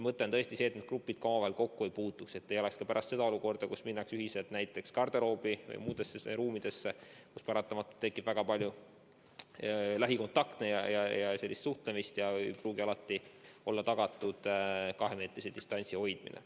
Mõte on tõesti see, et need grupid omavahel kokku ei puutuks, et ei oleks ka pärast nii, et minnakse ühiselt garderoobi või muudesse ruumidesse, kus paratamatult tekib väga palju lähikontakte, suhtlemist ja ei pruugi olla tagatud kahemeetrise distantsi hoidmine.